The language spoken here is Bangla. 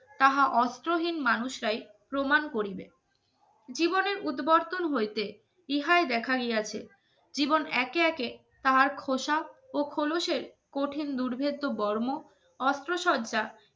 কাহা অস্ত্রহীন মানুষরাই প্রমাণ করিবে জীবনের উদবর্তন হইতে ইহাই দেখা গিয়েছে জীবন একে একে তাহার খোসা ও খোলসের কঠিন দুর্ভিদ বর্ণ অস্ত্রশয